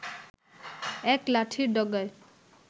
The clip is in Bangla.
এক লাঠির ডগায়